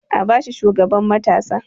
A ba shi shugaban matasa!